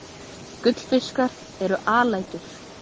Gullfiskar eru alætur.